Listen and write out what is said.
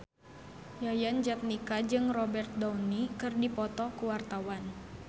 Yayan Jatnika jeung Robert Downey keur dipoto ku wartawan